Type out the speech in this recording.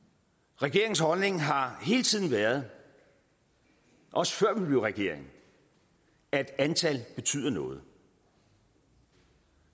regeringens holdning har hele tiden været også før vi blev regering at antal betyder noget